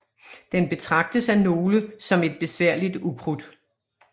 Den betragtes af nogle som et besværligt ukrudt